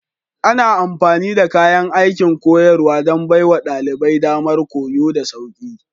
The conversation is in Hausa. Ana amfani da kayan aikin koyarwa don baiwa ɗalibai damar koyo da sauƙi.